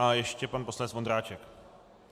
A ještě pan poslanec Vondráček.